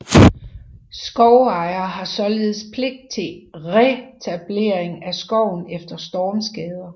Skovejer har således pligt til retablering af skoven efter stormskader